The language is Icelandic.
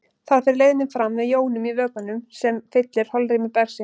Þar fer leiðnin fram með jónum í vökvanum sem fyllir holrými bergsins.